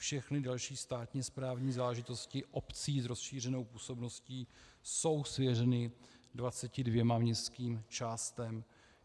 Všechny další státní správní záležitosti obcí s rozšířenou působností jsou svěřeny 22 městským částem.